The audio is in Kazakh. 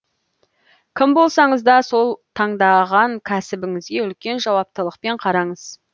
кім болсаңыз да сол таңдаған кәсібіңізге үлкен жауаптылықпен қараңыз